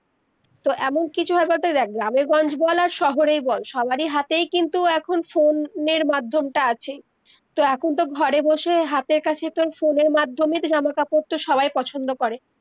তো এমন কিছু দেখ গ্রামের গঞ্জ বল আর শহরেই বল, সবারি হাতেই কিন্তু এখন phone এর মাধ্যমটা আছে তো এখন তো ঘরে বসে হাতের কাছে তো phone এর মাধ্যমে তো জামা-কাপড় তো সবাই পছন্দ করে